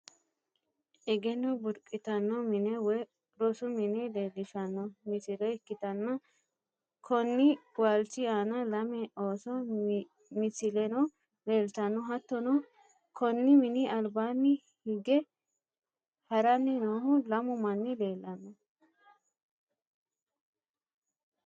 egenno burqitanno mine woy rosu mine leelishshanno misile ikkitanna, konni waalchi aana lame ooso misileno leeltanno. hattono konni mini albaanni hige haranni noohu lamu manni leelanno.